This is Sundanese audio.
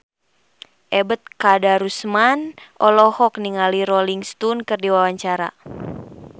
Ebet Kadarusman olohok ningali Rolling Stone keur diwawancara